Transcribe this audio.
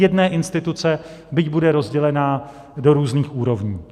Jedné instituce, byť bude rozdělena do různých úrovní.